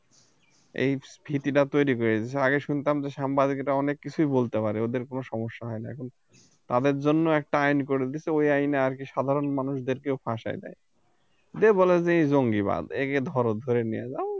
এই ভীতিটা তৈরি করে দিয়েছে আগে শুনতাম যে সাংবাদিকেরা অনেক কিছুই বলতে পারে ওদের কোন সমস্যা হয় না কিন্তু তাদের জন্য একটা আইন করে দিয়েছে ওই আইনে আর কি সাধারণ মানুষদেরকেও ফাঁসাই দেয় দে বলে যে জঙ্গিবাদ একে ধর ধইরা নিয়া যাও